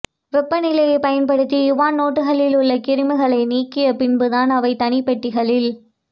வெப்பநிலையை பயன்படுத்தி யுவான் நோட்டுகளில் உள்ள கிருமிகளை நீக்கிய பின் தான் அவை தனிப்பெட்டிகளில்